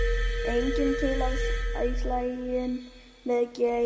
Enginn til í slaginn við Geir